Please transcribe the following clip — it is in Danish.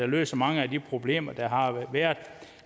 løser mange af de problemer der